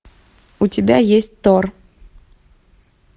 у тебя есть тор